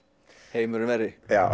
heimurinn verri já